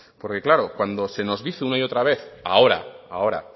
porque claro cuando se nos dice una y otra vez ahora ahora